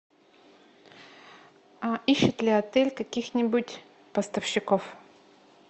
ищет ли отель каких нибудь поставщиков